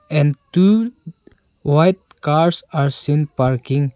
And two white cars are seen parking.